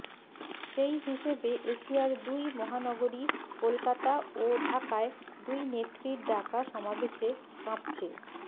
সেই হিসেবে এশিয়ার দুই মহানগরী কলকাতা ও ঢাকায় দুই নেত্রীর ডাকা সমাবেশে কাঁপছে